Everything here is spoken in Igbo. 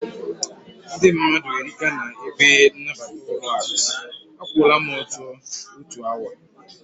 Ndị mmadụ erika na ebe nabata ụlọaku, a kwụọra m ọtọ otu awa